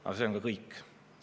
Aga see on ka kõik.